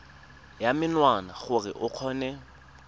ya menwana gore o kgone